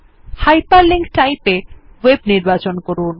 hyperlink type এ ভেব নির্বাচন করুন